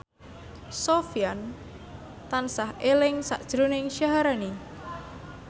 Sofyan tansah eling sakjroning Syaharani